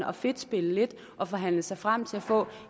og fedtspille lidt og forhandle sig frem til at få